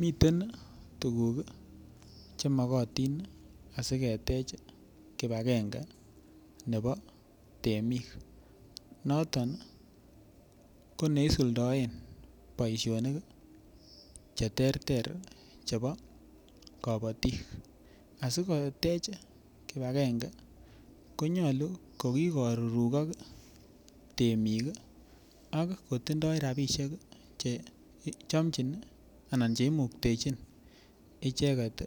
Miten tuguk che mogotin asiketech kipagenge nebo temik, noton ko neisuldaen bosionik che terter chebo kobotik. Asikotech kipagenge konyolu ko kigorurugok temik ak kotindo rabishek che chomchin anan che imuktechin icheget